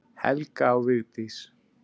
Helga og Vigdís.